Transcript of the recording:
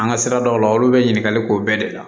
An ka siradaw la olu bɛ ɲininkali k'o bɛɛ de la